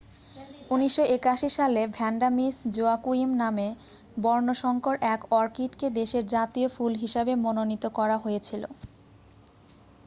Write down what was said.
1981 সালে Vanda Miss Joaquim নামে বর্ণসঙ্কর এক অর্কিডকে দেশের জাতীয় ফুল হিসাবে মনোনীত করা হয়েছিল